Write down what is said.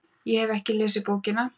ég hef ekki lesið bókina